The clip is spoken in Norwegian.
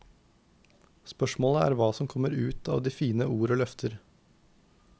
Spørsmålet er hva som kommer ut av de fine ord og løfter.